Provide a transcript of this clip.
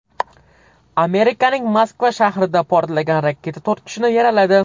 Amerikaning Moskva shahrida portlagan raketa to‘rt kishini yaraladi.